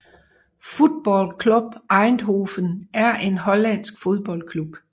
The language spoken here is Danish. Football Club Eindhoven er en hollandsk fodboldklub